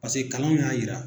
Pase kalanw y'a yira.